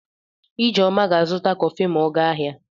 Ijeoma ga-azụta kọfị ma ọ gaa ahịa.